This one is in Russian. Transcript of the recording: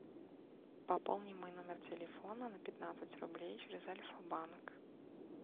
пополни мой номер телефона на пятнадцать рублей через альфа банк